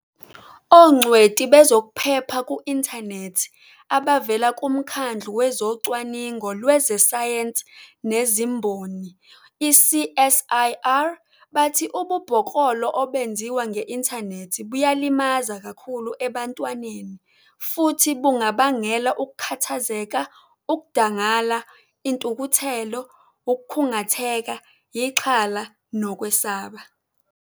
Ongcweti bezokuphepha ku-inthanethi abavela kuMkhandlu Wezocwaningo Lwezesayensi Nezimboni, i-CSIR, bathi ububhoklolo obenziwa nge-inthanethi buyalimaza kakhulu ebantwaneni futhi bungabangela ukukhathazeka, ukudangala, intukuthelo, ukukhungatheka, ixhala nokwesaba.